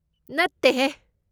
ꯅꯠꯇꯦꯍꯦ!